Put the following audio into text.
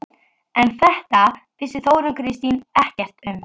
En þetta vissi Þórunn Kristín ekkert um.